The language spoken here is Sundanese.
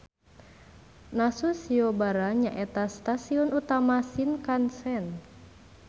Nasu Shiobara nyaeta stasion utama Shinkansen.